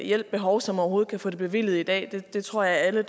hjælp behov som overhovedet kan få det bevilget i dag det tror jeg alle